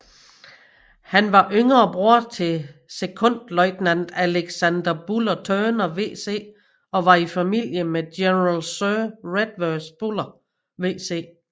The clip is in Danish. Han var yngre bror til sekondløjtnant Alexander Buller Turner VC og var i familie med General Sir Redvers Buller VC